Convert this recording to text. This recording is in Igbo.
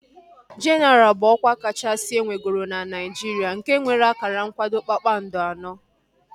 Jenaral bụ ọkwa kachasị enwegoro na Naijiria nke nwere akara nkwado kpakpando anọ